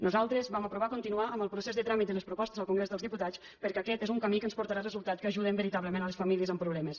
nosaltres vam aprovar continuar amb el procés de tràmit de les propostes al congrés dels diputats perquè aquest és un camí que ens portarà resultats que ajuden veritablement les famílies amb problemes